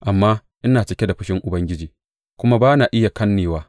Amma ina cike da fushin Ubangiji, kuma ba na iya kannewa.